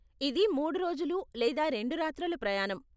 ఇది మూడు రోజులు లేదా రెండు రాత్రుల ప్రయాణం.